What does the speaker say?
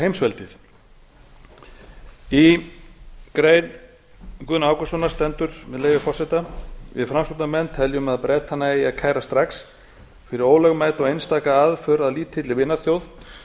heimsveldið í grein guðna ágústssonar stendur með leyfi forseta við framsóknarmenn teljum að bretana eigi að kæra strax fyrir ólögmæta og einstaka aðför að lítilli vinaþjóð